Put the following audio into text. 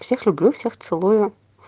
всех люблю всех целую